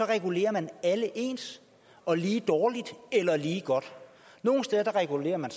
regulerer man alle ens og lige dårligt eller lige godt nogle steder regulerer man